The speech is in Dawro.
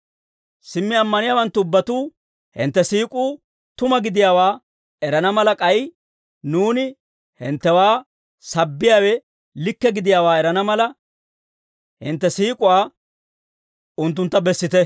Simmi ammaniyaawanttu ubbatuu hintte siik'uu tuma gidiyaawaa erana mala, k'ay nuuni hinttewaa sabbiyaawe likke gidiyaawaa erana mala, hintte siik'uwaa unttuntta bessite.